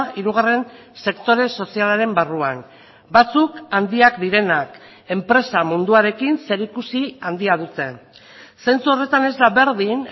hirugarren sektore sozialaren barruan batzuk handiak direnak enpresa munduarekin zerikusi handia dute zentzu horretan ez da berdin